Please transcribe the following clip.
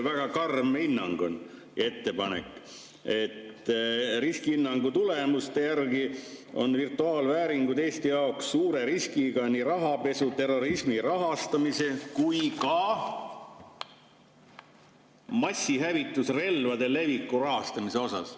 Väga karm hinnang ja ettepanek on: "riskihinnangu tulemused, mille kohaselt on virtuaalvääringud Eesti jaoks "…suure riskiga nii rahapesu, terrorismi rahastamise kui ka massihävitusrelvade leviku rahastamise osas"".